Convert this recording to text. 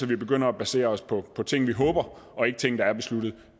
vi begynder at basere os på ting vi håber og ikke ting der er besluttet